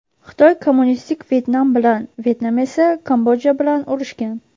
Xitoy kommunistik Vyetnam bilan, Vyetnam esa Kambodja bilan urushgan.